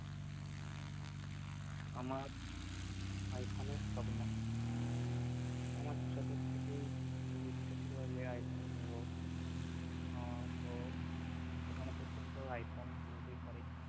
আমার আইফোনের স্বপ্ন আমার ছোট থেকেই খুব ইচ্ছে ছিল যে আইফোন কিনব আহ তো এখনো পর্যন্ত আইফোন কিনতেই পারিনি